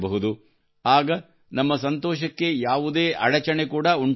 ಆಗ ನಮ್ಮ ಸಂತೋಷಕ್ಕೆ ಯಾವುದೇ ಅಡಚಣೆ ಕೂಡಾ ಉಂಟಾಗುವುದಿಲ್ಲ